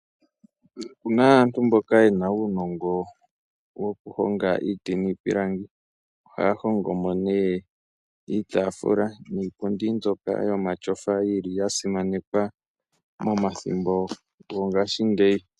Opuna aantu mboka yena uunongo woku honga iiti niipilangi, ohaya hongo mo nee iitaafula niipundi mbyoka yo mashofa yili ya simanekwa mo mathimbo go ngashingeyi.